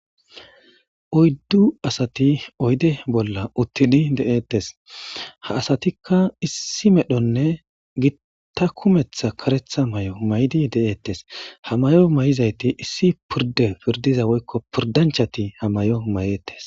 Oydu asati oyde bola utidi de'etes ha asatika issi medhone gita kumeta karetha mayo mayidi de'etes ha mayo mayizayti issi pirdiya pirdizayti woyko pirdanchati mayetes.